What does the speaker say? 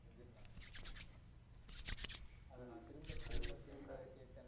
அத நா திரும்ப திரும்ப திரும்ப கேட்டேன்.